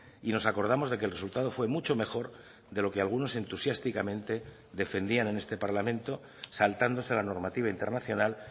y nos acordamos de que el resultado fue mucho mejor de lo que algunos entusiásticamente defendían en este parlamento saltándose la normativa internacional